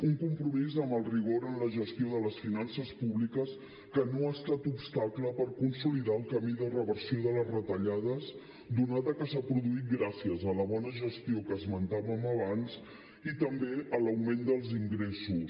un compromís amb el rigor en la gestió de les finances públiques que no ha estat obstacle per consolidar el camí de reversió de les retallades donat que s’ha produït gràcies a la bona gestió que esmentàvem abans i també a l’augment dels ingressos